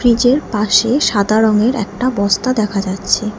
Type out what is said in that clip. ফ্রিজের পাশে সাদা রঙের একটা বস্তা দেখা যাচ্ছে।